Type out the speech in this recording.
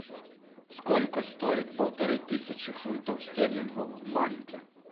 сколько стоит полторы тысячи фунтов стерлингов в банке